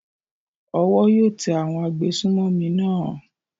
Owó yóò tẹ àwọn agbésùnmọ̀mí náà.